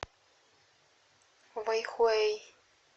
вэйхуэй